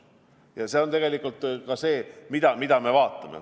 Ja see on tegelikult ka see, mida me vaatame.